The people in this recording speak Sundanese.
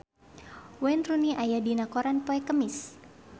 Wayne Rooney aya dina koran poe Kemis